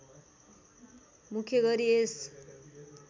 मुख्य गरी यस